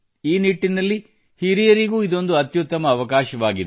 ಈ ನಿಟ್ಟಿನಲ್ಲಿ ಹಿರಿಯರಿಗೂ ಇದೊಂದು ಅತ್ಯುತ್ತಮ ಅವಕಾಶವಾಗಿದೆ